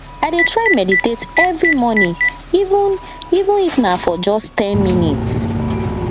i dey try meditate every morning even even if na for just ten minutes